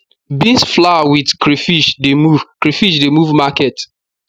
beans flour with crayfish de move crayfish de move market